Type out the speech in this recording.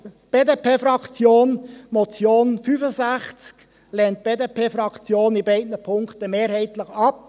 Die Motion zum Traktandum 65 lehnt die BDP-Fraktion in beiden Punkten mehrheitlich ab.